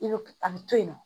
I bɛ a bɛ to yen nɔ